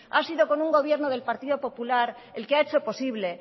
ha sido con un gobierno del partido popular el que ha hecho posible